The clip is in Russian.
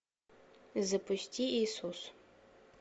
запусти иисус